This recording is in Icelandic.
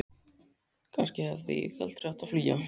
Kannski hefði ég aldrei átt að flýja.